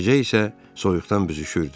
Gecə isə soyuqdan büzüşürdü.